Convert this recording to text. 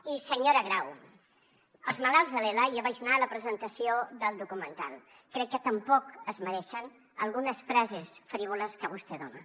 i senyora grau els malalts de l’ela jo vaig anar a la presentació del documental crec que tampoc es mereixen algunes frases frívoles que vostè dona